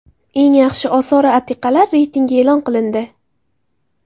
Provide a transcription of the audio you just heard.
Eng yaxshi osori atiqalar reytingi e’lon qilindi.